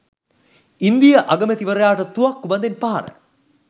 ඉන්දීය අගමැතිවරයාට තුවක්කු බඳෙන් පහර